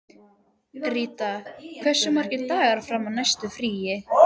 Ríta, hversu margir dagar fram að næsta fríi?